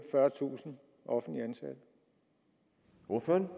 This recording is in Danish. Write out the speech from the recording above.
fyrretusind offentligt ansatte